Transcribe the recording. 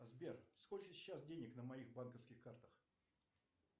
сбер сколько сейчас денег на моих банковских картах